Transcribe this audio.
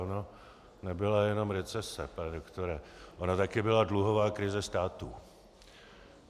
Ona nebyla jenom recese, pane doktore, ona taky byla dluhová krize státu.